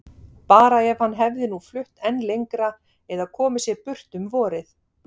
Bara ef hann hefði nú flutt enn lengra eða komið sér burt um vorið.